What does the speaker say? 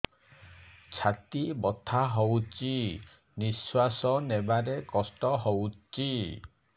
ଛାତି ବଥା ହଉଚି ନିଶ୍ୱାସ ନେବାରେ କଷ୍ଟ ହଉଚି